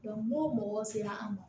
n'o mɔgɔw sera an ma